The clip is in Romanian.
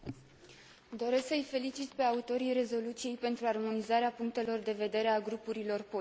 Doresc să îi felicit pe autorii rezoluției pentru armonizarea punctelor de vedere ale grupurilor politice.